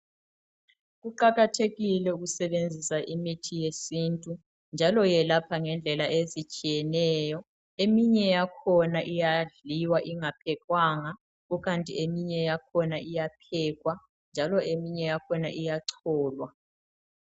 Kuqakathekile ukusebenzisa imithi yesintu njalo yelapha ngendlela ezitshiyeneyo. Eminye yakhona iyadliwa ingaphekwanga kukanti eminye yakhona iyaphekwa njalo eminye yakhona iyacholwa.